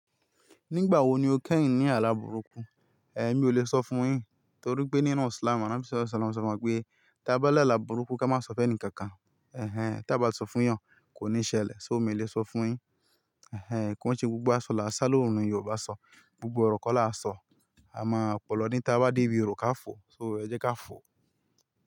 Nígbà wo ni o kẹ́yin ní àlàburúkú? Ehn mi ò le sọ fún un yin torí pé nínú Islam, ànábì Sálú Sálámù sọ fun wa pé tí a bá la àlà burúkú ká má sọ fún ẹnì kankan. Ehn tí a bá sọ fún eeyàn kò ní ṣẹlẹ̀, ṣo mi ò le sọ fún un yin. Ehn kí wọn ṣe gbogbo àsọ̀ là ń sá lóòrùn ni Yorùbá sọ, gbogbo ọ̀rọ̀ kọ́ là ń sọ. A máa opòlọ ní tí a bá dé ibi iru ká fò, ṣo ẹ jẹ́ ká fò.